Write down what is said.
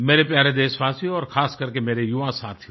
मेरे प्यारे देशवासियों और खासकर के मेरे युवा साथियों